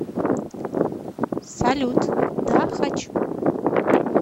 салют да хочу